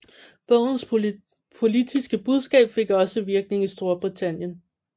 Bogens politiske budskab fik også virkning i Storbritannien